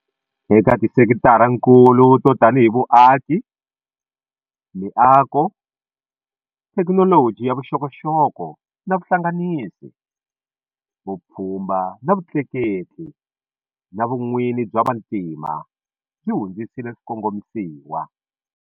Eka tisekitarakulu to tanihi vuaki, miako, thekinoloji ya vuxokoxoko na vuhlanganisi, vupfhumba na vutleketli na vun'wini bya vantima byi hundzisile swikongomisiwa.